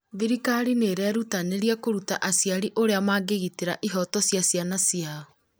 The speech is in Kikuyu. thirikari nĩ irerutanĩria kũruta aciari ũrĩa mangĩgitĩra ihoto ciana ciao